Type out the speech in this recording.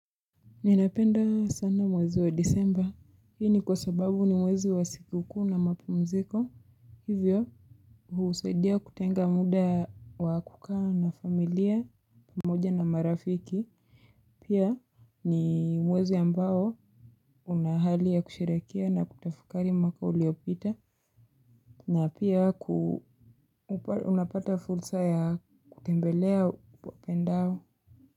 Ninapenda sana mwezi wa disemba. Hii ni kwa sababu ni mwezi wa sikukuu na mapumziko. Hivyo. Husaidia kutenga muda wa kukaa na familia. Pamoja na marafiki. Pia ni mwezi ambao. Una hali ya kusherehekea na kutafakari mwaka uliopita. Na pia ku. Unapata fulsa ya kutembelea uwapendao.